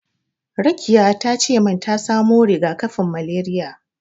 Rakiya tace min ta samo riga-kafin malariya.